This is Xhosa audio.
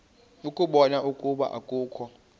ukubona ukuba akukho